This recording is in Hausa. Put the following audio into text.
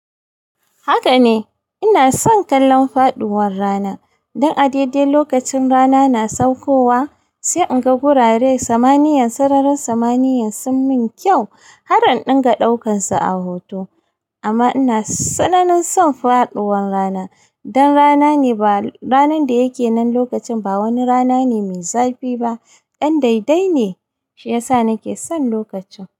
Haka ne ina son kallon faduwar rana. Dan a daidai lokacin rana na saukowa sai in ga gurare samaniyan, sararin samaniyan sun min kyau har in dinga daukan su a hoto. Amma ina tsananan son faduwar rana dan rana ne ba ranar da yake nan lokacin ba wani rana ne mai zafi ba, dan daidai ne shi yasa nake son lokacin.